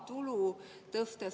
Lugupeetud minister!